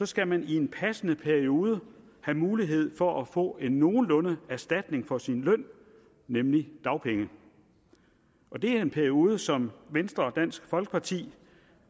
skal man i en passende periode have mulighed for at få en nogenlunde erstatning for sin løn nemlig dagpenge og det er en periode som venstre og dansk folkeparti